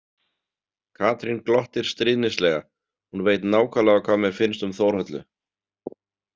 Katrín glottir stríðnislega, hún veit nákvæmlega hvað mér finnst um Þórhöllu.